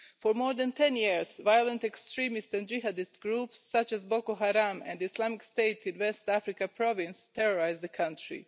For more than 10 years, violent extremist and jihadist groups, such as Boko Haram and Islamic State in West Africa province, terrorised the country.